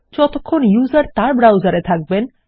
যতক্ষণ ব্যবহারকরি তার ব্রাউসার এ থাকবেন